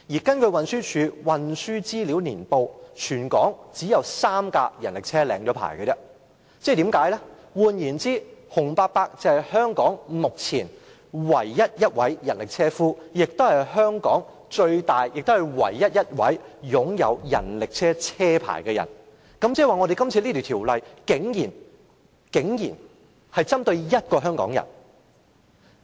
根據運輸署《運輸資料年報》，全港只有3輛人力車已領牌，換言之，洪伯伯是香港目前唯一一位人力車車夫，亦是唯一一位擁有人力車車牌的人，即是說，這項《修訂規例》竟然是針對一位香港人。